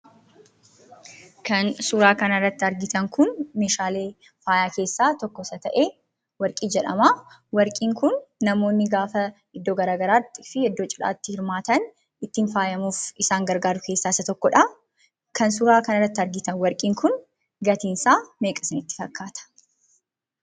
Kan suuraa kanarratti argitan kun meeshaalee faayaa keessaa tokko isa ta'ee warqii jedhamaa. Warqiin kun namoonni gaafaa iddoo garaa garaattii fi iddoo cidhaatti hirmaatan ittiin faayamuuf isaan gargaaru keessaa isa tokkodhaa. Kan suuraa kanarratti argitan warqiin kun gatiinsaa meeqa isinitti fakkaata?